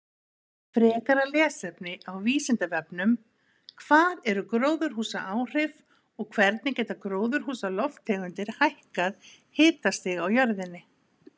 Frekara lesefni á Vísindavefnum: Hvað eru gróðurhúsaáhrif og hvernig geta gróðurhúsalofttegundir hækkað hitastig á jörðinni?